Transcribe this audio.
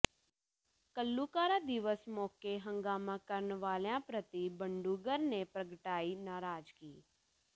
ਘੱਲੂਘਾਰਾ ਦਿਵਸ ਮੌਕੇ ਹੰਗਾਮਾ ਕਰਨ ਵਾਲਿਆਂ ਪ੍ਰਤੀ ਬਡੂੰਗਰ ਨੇ ਪ੍ਰਗਟਾਈ ਨਰਾਜ਼ਗੀ